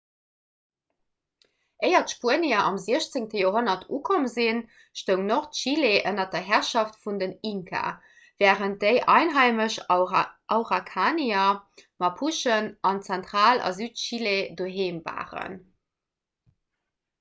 éier d'spuenier am 16. joerhonnert ukomm sinn stoung nordchile ënner der herrschaft vun den inka wärend déi einheimesch araukanier mapuche an zentral- a südchile doheem waren